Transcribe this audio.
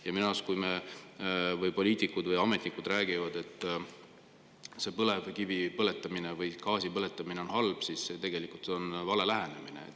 Ja minu arust, kui poliitikud või ametnikud räägivad, et põlevkivi põletamine või gaasi põletamine on halb, siis tegelikult see on vale lähenemine.